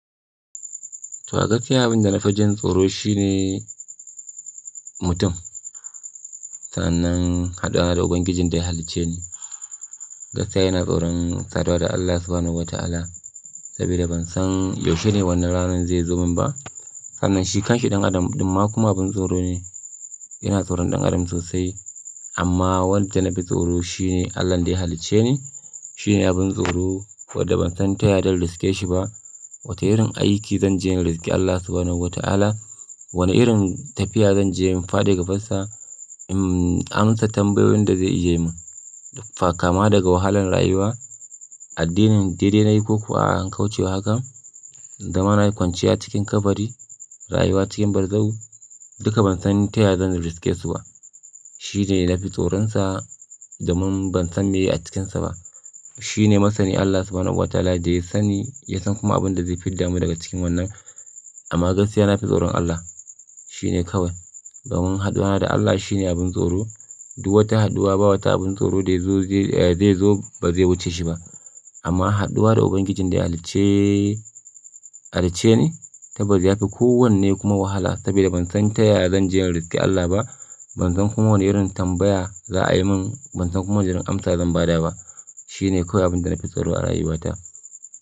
To, a gaskiya abin da na fi jin tsoro shi ne mutum. Sannan haduwa da Ubangijin da ya halicce ni. Gaskiya ina tsoron saduwa da Allah Subhanahu wa Ta'ala saboda ban san yaushe ne wannan ranar zai zo min ba. Sannan shi kanshi ɗan adam ɗum ma kuma abin tsoro ne. Ina tsoron ɗan adam sosai amma wanda na fi tsoro shi ne Allah da ya halicce ni. Shi ne abin tsoro wadda ban san taya zan riske shi ba. Wata irin aiki zan je in riske Allah Subhanahu wa Ta'ala. Wane irin tafiya zan je in faɗi gabansa. Im, ƙananan tambayoyin da zai ajiye mun. Fa kama daga wahalan rayuwa. Addinin daidai na yi ko kuwa an kaucewa haka. Da ma na yi kwanciya cikin kabari, rayuwa cikin bazau duka ban san taya zan riskesu ba. Shi ne na fi tsoronsa domin ban san me yake a cikinsa ba. Shi ne masani Allah Subhanahu wa Ta'ala da ya sani, ya san kuma abin da zai fidda mu daga cikin wannan. Amma gaskiya na fi tsoron Allah. Shi ne kawai. Dan mun haɗuwa da Allah shi ne abin tsoro. Duk wata haɗuwa, ba wata abin tsoro da ya zo zai, zai zo ba zai wuce shi ba. Amma haɗuwa da Ubangijin da ya halicce, halicce ni saboda ya fi kowanne kuma wahala saboda ban san taya zan je in riske Allah ba. Ban san kuma wane irin tambaya za a yi mun. Ban san kuma wane irin amsa zan ba da ba. Shi ne kawai abin da na fi tsoro a rayuwata.